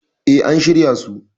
E, an shirya su.